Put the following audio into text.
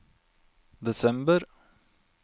desember